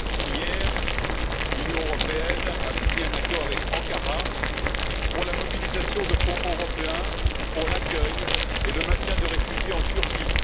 Hier, l'Union européenne a signé un accord avec Ankara pour la mobilisation de fonds européens pour l'accueil et le maintien de réfugiés en Turquie.